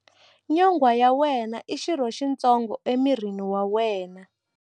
Nyonghwa ya wena i xirho xitsongo emirini wa wena.